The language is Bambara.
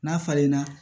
N'a falenna